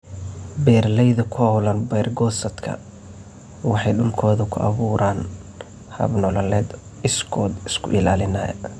Beeralayda ku hawlan beer-goosadku waxay dhulkooda ku abuuraan hab-nololeedyo iskood isku ilaalinaya.